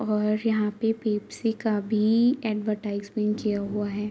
और यहाँ पे पेप्सी का भी ऐडवरटाइसमेन्ट किया हुआ है।